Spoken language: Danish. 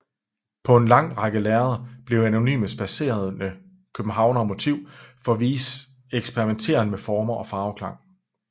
På en lang række lærreder blev anonyme spadserende københavnere motiv for Weies eksperimenteren med former og farveklange